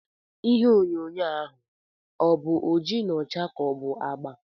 Ihe onyonyo a ọ̀ bụ oji na ọcha ka ọ bụ agba?